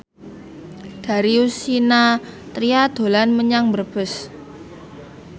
Darius Sinathrya dolan menyang Brebes